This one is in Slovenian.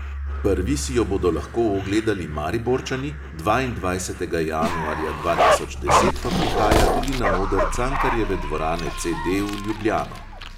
Prvi si jo bodo lahko ogledali mariborčani, dvaindvajsetega januarja dva tisoč deset pa prihaja tudi na oder cankarjeve dvorane CD v ljubljano.